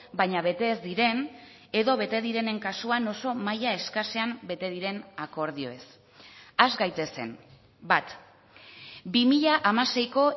baina bete ez diren edo bete direnen kasuan oso maila eskasean bete diren akordioez has gaitezen bat bi mila hamaseiko